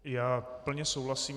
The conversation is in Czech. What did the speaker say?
Já plně souhlasím.